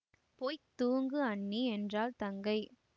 போய் தூங்கு அண்ணி என்றாள் தங்கை